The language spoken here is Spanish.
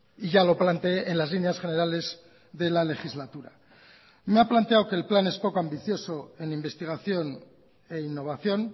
y ya lo planteé en las líneas generales de la legislatura me ha planteado que el plan es poco ambicioso en investigación e innovación